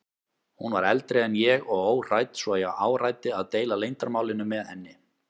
Hún var eldri en ég og óhrædd svo ég áræddi að deila leyndarmálinu með henni.